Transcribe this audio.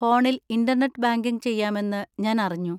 ഫോണിൽ internet banking ചെയ്യാമെന്ന് ഞാൻ അറിഞ്ഞു.